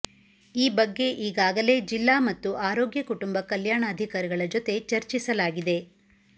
ಈ ಬಗ್ಗೆ ಈಗಾಗಲೇ ಜಿಲ್ಲಾ ಮತ್ತು ಆರೋಗ್ಯ ಕುಟುಂಬ ಕಲ್ಯಾಣಾಧಿಕಾರಿಗಳ ಜತೆ ಚರ್ಚಿಸಲಾಗಿದೆ